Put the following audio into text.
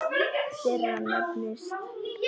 þeirra nefnist